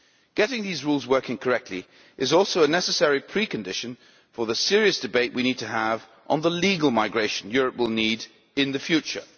Getting these rules working correctly is also a necessary precondition for the serious debate we need to have on the legal migration Europe will need in the future.